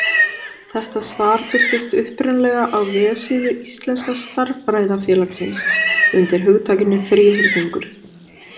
Þetta svar birtist upprunalega á vefsíðu Íslenska stærðfræðafélagsins undir hugtakinu þríhyrningur.